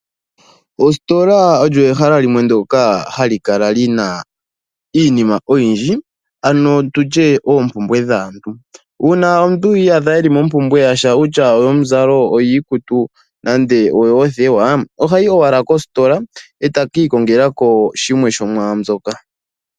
Ositola olyo ehala imwe ndyoka hali kala li na iinima oyindji ano tutye oompumbwe dhaantu. Uuna omuntu a iyadha e li mompumbwe yasha okutya oyomuzalo, oyiikutu nenge oyoothewa ohayi wala kositola e ta ka ikongela ko shimwe shomwaambyoka.